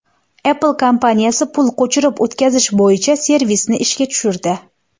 Apple kompaniyasi pul ko‘chirib o‘tkazish bo‘yicha servisni ishga tushirdi.